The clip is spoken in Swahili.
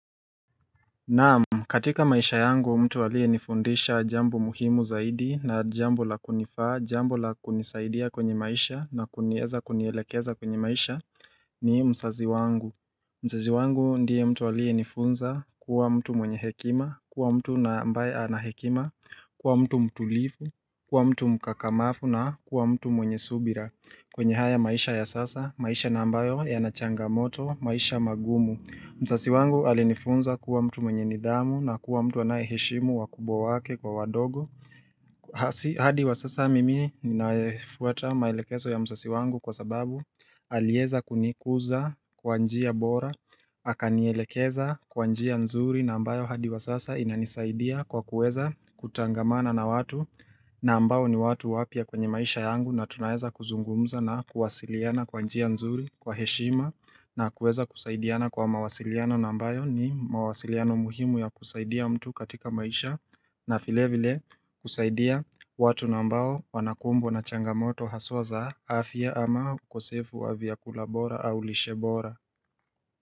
Naam, katika maisha yangu mtu aliyenifundisha jambo muhimu zaidi na jambo la kunifaa, jambo la kunisaidia kwenye maisha na kunieza kunielekeza kwenye maisha ni mzazi wangu. Mzazi wangu ndiye mtu aliyenifunza kuwa mtu mwenye hekima, kuwa mtu na ambaye anahekima, kuwa mtu mtulivu, kuwa mtu mkakamavu na kuwa mtu mwenye subira. Kwenye haya maisha ya sasa, maisha na ambayo yanachangamoto, maisha magumu. Mzazi wangu alinifunza kuwa mtu mwenye nidhamu na kuwa mtu anayeheshimu wakubwa wake kwa wadogo hadi wa sasa mimi ninafuata maelekezo ya mzazi wangu kwa sababu aliweza kunikuza kwa njia bora Akanielekeza kwa njia nzuri na ambayo hadi wa sasa inanisaidia kwa kuweza kutangamana na watu na ambao ni watu wapya kwenye maisha yangu na tunaweza kuzungumza na kuwasiliana kwa njia nzuri kwa heshima na kuweza kusaidiana kwa mawasiliano na ambayo ni mawasiliano muhimu ya kusaidia mtu katika maisha na vile vile kusaidia watu na ambao wanakumbwa na changamoto haswa za afya ama ukosefu wa vyakula bora au lishe bora.